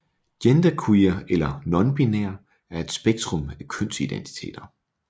Genderqueer eller nonbinær er et spektrum af kønsidentiteter